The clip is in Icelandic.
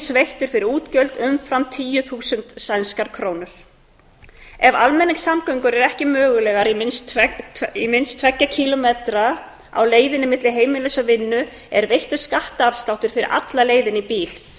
veittur fyrir útgjöld umfram tíu þúsund sænskar krónur ef almenningssamgöngur eru ekki mögulegar í minnst tvo kílómetra á leiðinni milli heimilis og vinnu er veittur skattafsláttur fyrir alla leiðina í bíl